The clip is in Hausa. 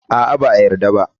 A'a, ba a yarda ba.